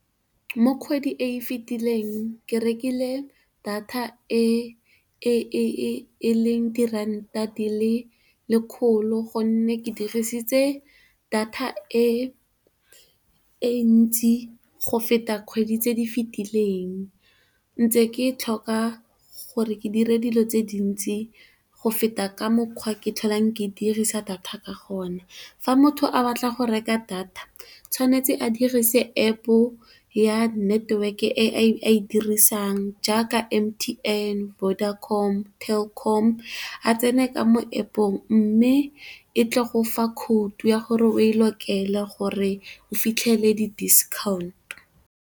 Mo kgwedi e e fitileng ke rekile data e leng diranta di le lekgolo gonne, ke dirisitse data e ntsi go feta kgwedi tse di fetileng. Ntse ke e tlhoka gore ke dire dilo tse dintsi go feta ka mokgwa ke tlhole ke dirisa data ka gona. Fa motho a batla go reka data tshwanetse a dirise App ya network e a e dirisang jaaka, M_T_N, Vodacom le Telkom a tsene ka mo App-ong, mme e tla go fa khoutu ya gore o e lokele gore o fitlhele di diskhaonto.